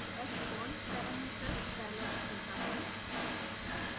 hbond parameters dialogue खुलता है